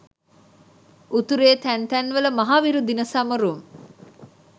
උතුරේ තැන් තැන් වල මහවිරු දින සැමරුම්